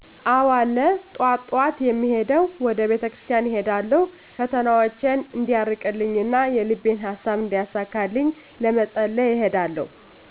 አዎ አለ ጠዋት ጠዋት የምሄደዉ ወደ ቤተክርስቲያን እሄዳለሁ ፈተናዎቸን እንዲያርቅልኝ እና የልቤን ሃሳብ እንዲያሳካልኝ ለመፀለይ እሄዳለሁ